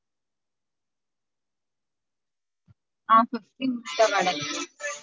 ஆஹ் fifty முட்ட வடை